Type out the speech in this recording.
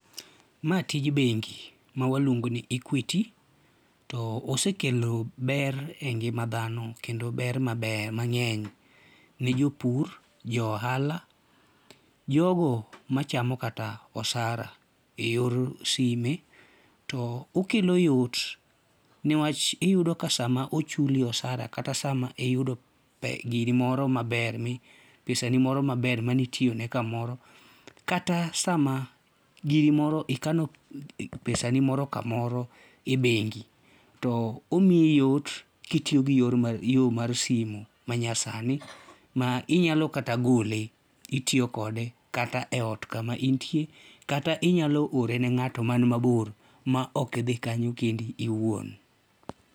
Ma tij bengi ma waluongo ni Equity to osekelo ber mang'eny engima dhano kendo ber mang'eny, jogo ma jopur, jo ohala jogo machamo kata osara eyor sime to okelo yot newach iyudo ka sama ochuli osara kata sama iyudoo giri moo maber pesa ni moro maber mane itoyone kamoro kata sama giri moro ikano pesani moro kamoro e bengi to omiyi yot kitiyo gi yo mar simu manyasani ma inyalo kata gole itiyo kode kata eot kama intie kata inyalo ore ne ng'ato man mabor maok idhi kanyo kendi iwuon.